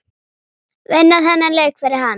Vinna þennan leik fyrir hann!